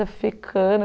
Fui ficando.